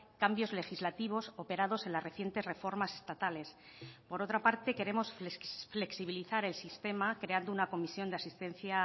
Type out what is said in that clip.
cambios legislativos operados en las recientes reformas estatales por otra parte queremos flexibilizar el sistema creando una comisión de asistencia